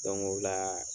o la